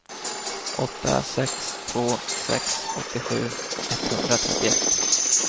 åtta sex två sex åttiosju etthundratrettioett